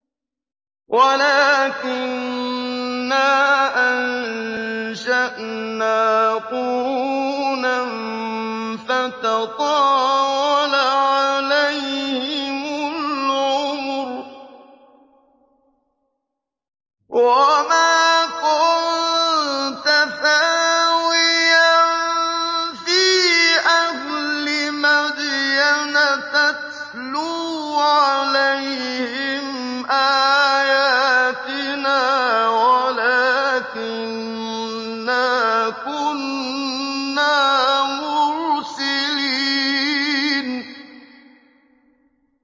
وَلَٰكِنَّا أَنشَأْنَا قُرُونًا فَتَطَاوَلَ عَلَيْهِمُ الْعُمُرُ ۚ وَمَا كُنتَ ثَاوِيًا فِي أَهْلِ مَدْيَنَ تَتْلُو عَلَيْهِمْ آيَاتِنَا وَلَٰكِنَّا كُنَّا مُرْسِلِينَ